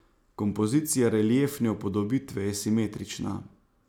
Kompozicija reliefne upodobitve je simetrična.